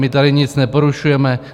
My tady nic neporušujeme.